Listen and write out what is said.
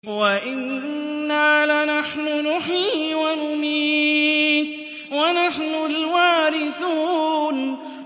وَإِنَّا لَنَحْنُ نُحْيِي وَنُمِيتُ وَنَحْنُ الْوَارِثُونَ